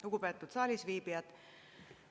Lugupeetud saalisviibijad!